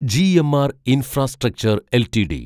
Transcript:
GMR infrastructure LTD